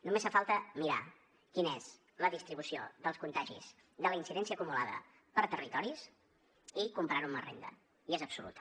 només fa falta mirar quina és la distribució dels contagis de la incidència acumulada per territoris i comparar ho amb la renda i és absoluta